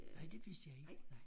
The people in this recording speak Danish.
Nej det vidste jeg ikke nej